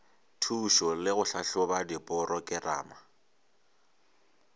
thušo le go tlhahloba diporokerama